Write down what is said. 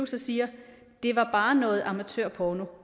så siger det var bare noget amatørporno